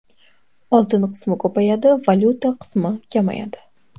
Oltin qismi ko‘payadi, valyuta qismi kamayadi.